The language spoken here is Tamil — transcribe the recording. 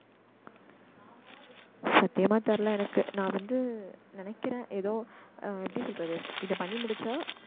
சத்தியமா தெரியல எனக்கு நான் வந்து நினைக்கிறன் ஏதோ ஆஹ் எப்படி சொல்றது இத பண்ணி முடிச்சா